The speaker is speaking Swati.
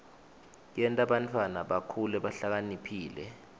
yenta bantfwana bakhule bahlakaniphile